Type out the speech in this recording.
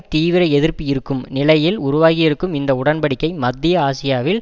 தீவிர எதிர்ப்பு இருக்கும் நிலையில் உருவாகியிருக்கும் இந்த உடன் படிக்கை மத்திய ஆசியாவில்